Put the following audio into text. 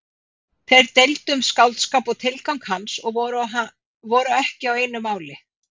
Þeir deildu um skáldskap og tilgang hans og voru ekki á einu máli.